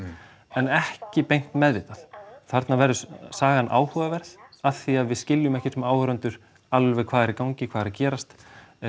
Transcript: en ekki beint meðvitað þarna verður sagan áhugaverð af því að við skiljum ekki sem áhorfendur alveg hvað er í gangi hvað er að gerast